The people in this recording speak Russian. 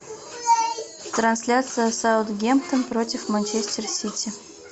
трансляция саутгемптон против манчестер сити